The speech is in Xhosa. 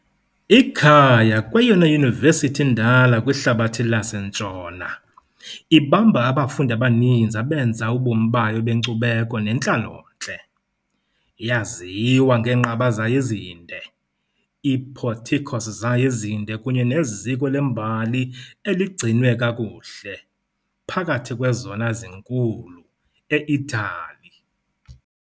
Ikhaya kweyona yunivesithi indala kwihlabathi laseNtshona , ibamba abafundi abaninzi abenza ubomi bayo benkcubeko nentlalontle. Iyaziwa ngeenqaba zayo ezinde, i-porticos zayo ezinde kunye neziko lembali eligcinwe kakuhle, phakathi kwezona zinkulu e- Itali .